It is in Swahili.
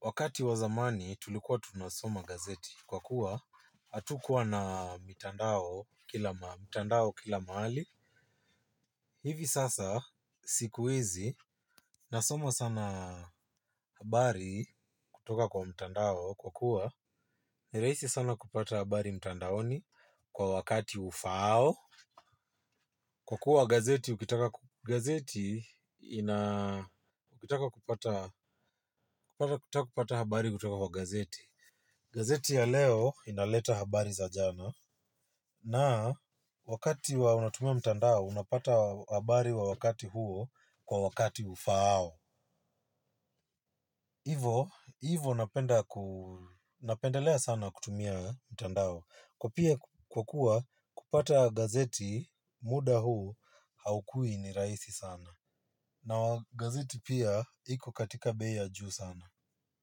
Wakati wa zamani tulikuwa tunasoma gazeti. Kwa kuwa hatukuwa na mitandao kila mahali. Hivi sasa sikuhizi nasoma sana habari kutoka kwa mtandao kwa kuwa nirahisi sana kupata habari mtandaoni kwa wakati ufao. Kwa kuwa gazeti ukitaka gazeti ina ukitaka kupata habari kutoka kwa gazeti. Gazeti ya leo inaleta habari za jana. Na wakati wa unatumia mtandao, unapata habari wa wakati huo kwa wakati ufaao. Hivo, hivo napendelea sana kutumia mtandao. Kwa pia kwakua kupata gazeti, muda huu haukui ni raihisi sana. Na wagazeti pia, iko katika bei ya juu sana.